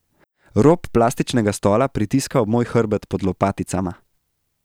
Rob plastičnega stola pritiska ob moj hrbet pod lopaticama.